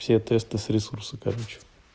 все тесты с ресурса короче